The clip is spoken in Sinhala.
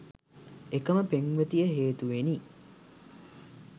එකම පෙම්වතිය හේතුවෙනි